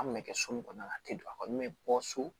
An kun bɛ kɛ so min kɔnɔ a tɛ don a kɔni bɛ bɔ so